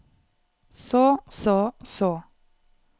så så så